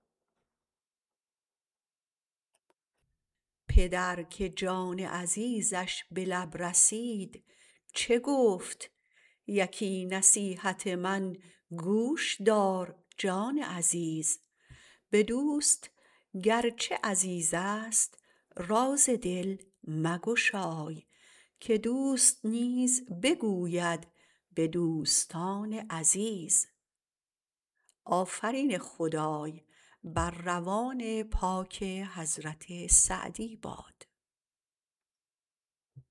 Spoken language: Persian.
پدر که جان عزیزش به لب رسید چه گفت یکی نصیحت من گوش دار جان عزیز به دوست گرچه عزیزست راز دل مگشای که دوست نیز بگوید به دوستان عزیز